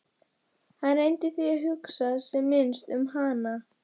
Hann reyndi því að hugsa sem minnst um hana.